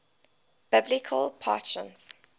biblical patriarchs